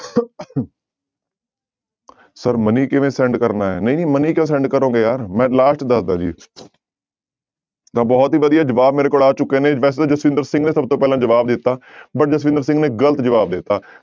Sir money ਕਿਵੇਂ send ਕਰਨਾ ਹੈ ਨਹੀਂ ਨਹੀਂ money ਕਿਉਂ send ਕਰੋਗੇ ਯਾਰ ਮੈਂ last ਦੱਸਦਾਂ ਜੀ ਤਾਂ ਬਹੁਤ ਹੀ ਵਧੀਆ ਜਵਾਬ ਮੇਰੇ ਕੋਲ ਆ ਚੁੱਕੇ ਨੇ ਵੈਸੇ ਤਾਂ ਜਸਵਿੰਦਰ ਸਿੰਘ ਨੇ ਸਭ ਤੋਂ ਪਹਿਲਾਂ ਜਵਾਬ ਦਿੱਤਾ but ਜਸਵਿੰਦਰ ਸਿੰਘ ਨੇ ਗ਼ਲਤ ਜਵਾਬ ਦਿੱਤਾ।